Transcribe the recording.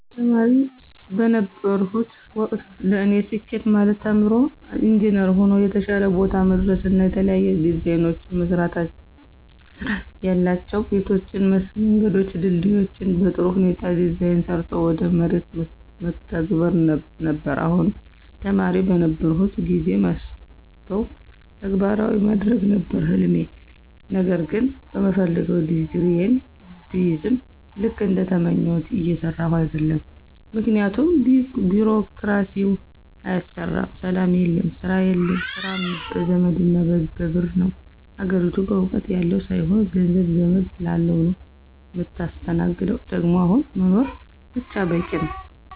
ተማሪ በነበርሁበት ወቅት ለኔ ስኬት ማለት ተምሮ ኢንጅነር ሆኖ የተሻለ ቦታ መድረስና የተለያዩ ዲዛይኖችን መስራትያላቸው ቤቶችን፣ መንገዶችን፣ ድልድዮችን በጥሩ ሁኔታ ዲዛይን ሰርቶ ወደ መሬት መተግበር ነበር፣ አሁንም ተማሪ በነበርሁበት ጊዜ ማስበውን ተግባራዊ ማድረግ ነበር ህልሜ ነገር ግን በምፈልገው ዲግሪየን ብይዝም ልክ እንደተመኘሁት እየሰራሁ አደለም ምክንያቱም ቢሮክራሲው አያሰራም፣ ሰላም የለም፣ ስራ የለም፣ ስራ በዘመድና በብር ነው፣ አገሪቱ እውቀት ያለው ሳይሆን ገንዘብ፣ ዘመድ ላለው ነው ምታስተናግደው ደግሞ አሁን መኖር ብቻ በቂ ነው።